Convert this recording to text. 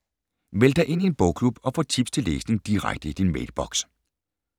Meld dig ind i en bogklub og få tips til læsning direkte i din mailboks